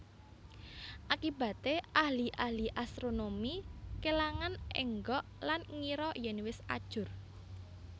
Akibaté ahli ahli astronomi kèlangan énggok lan ngira yèn wis ajur